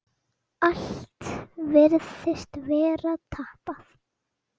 Allt virtist vera tapað.